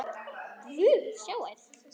Guð, sjáiði!